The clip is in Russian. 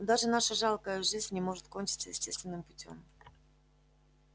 но даже наша жалкая жизнь не может кончиться естественным путём